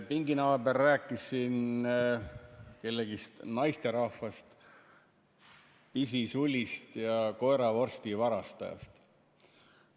Pinginaaber rääkis siin ühest naisterahvast – pisisulist ja koeravorsti varastajast.